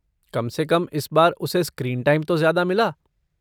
कम से कम इस बार उसे स्क्रीन टाइम तो ज्यादा मिला।